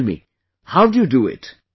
Tell me, how do you do it